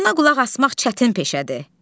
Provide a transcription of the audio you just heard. Buna qulaq asmaq çətin peşədir.